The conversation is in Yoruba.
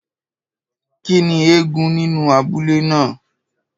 Kín ni eégún nínú abúlé ná à?